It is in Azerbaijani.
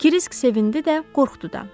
Krisk sevindi də, qorxdu da.